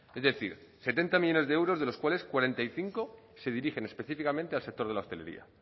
es decir setenta millónes de euros de los cuales cuarenta y cinco se dirigen específicamente al sector de la hotelería